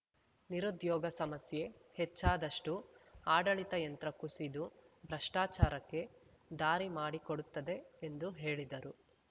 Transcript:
ನಿರುದ್ಯೋಗ ಸಮಸ್ಯೆ ಹೆಚ್ಚಾದಷ್ಟೂಆಡಳಿತ ಯಂತ್ರ ಕುಸಿದು ಭ್ರಷ್ಟಾಚಾರಕ್ಕೆ ದಾರಿ ಮಾಡಿಕೊಡುತ್ತದೆ ಎಂದು ಹೇಳಿದರು